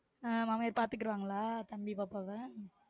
ஆஹ் மாமியார் பாத்துக்கிருவாங்களா? தம்பி பாப்பா வ